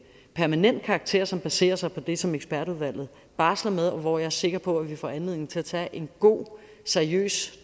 permanent karakter som baserer sig på det som ekspertudvalget barsler med og hvor jeg er sikker på at vi får anledning til at tage en god seriøs